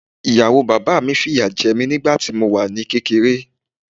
Ìyàwó bàbá mi fìyà jẹ mí nígbà tí mo wà ní kékeré.